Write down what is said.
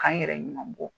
K'an yɛrɛ ɲuman bɔ